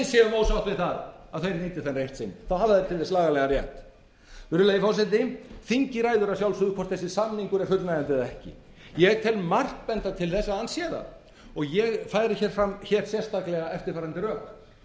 ósátt við það að þeir nýti þann rétt sinn þá hafa þeir til þess lagalegan rétt virðulegi forseti þingið ræður að sjálfsögðu hvort þessi samningur er fullnægjandi eða ekki ég tel margt benda til þess að hann sé það og ég færi hér fram sérstaklega eftirfarandi rök